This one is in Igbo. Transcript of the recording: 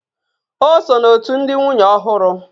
O so n'òtù ndị nwunye ọhụrụ